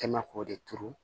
Kɛ mɛ k'o de turu